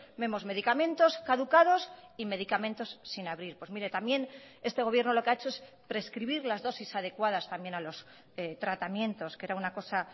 vemos medicamentos caducados y medicamentos sin abrir pues mire también este gobierno lo que ha hecho es prescribir las dosis adecuadas también a los tratamientos que era una cosa